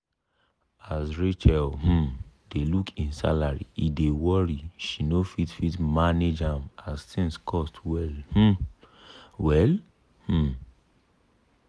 as rachel um dey look e salary e dey worry she no fit fit manage ahm as thing cost well um well. um